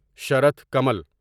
شرط کمل